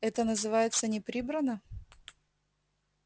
это называется не прибрано